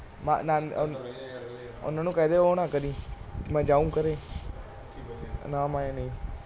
ਵਾਲੋਂ ਕੋ ਬੋਲ ਦੇ ਵੋ ਨਾ ਕਰੇ ਹਮ ਜਾਏਂਗੇ ਕਰੇਂਗੇ ਨਹੀਂ